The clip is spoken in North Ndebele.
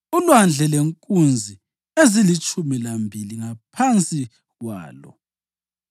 uLwandle lenkunzi ezilitshumi lambili ngaphansi kwalo;